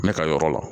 Ne ka yɔrɔ la